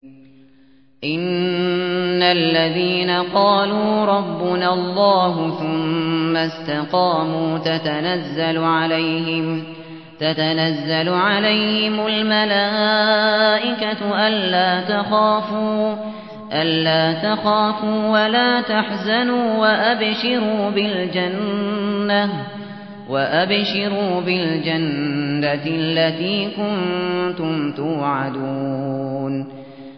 إِنَّ الَّذِينَ قَالُوا رَبُّنَا اللَّهُ ثُمَّ اسْتَقَامُوا تَتَنَزَّلُ عَلَيْهِمُ الْمَلَائِكَةُ أَلَّا تَخَافُوا وَلَا تَحْزَنُوا وَأَبْشِرُوا بِالْجَنَّةِ الَّتِي كُنتُمْ تُوعَدُونَ